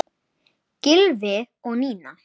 Gylfi og Nína.